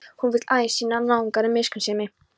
Hún vill aðeins sýna náunganum miskunnsemi.